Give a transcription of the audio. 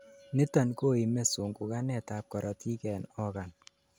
niton koime sunguganet ab korotik en organ